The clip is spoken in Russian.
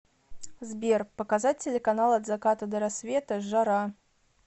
сбер показать телеканал от заката до рассвета жара